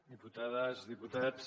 diputades diputats